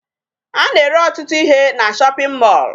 A na-ere ọtụtụ ihe na shopping mall